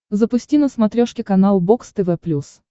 запусти на смотрешке канал бокс тв плюс